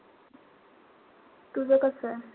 तुझं कसय?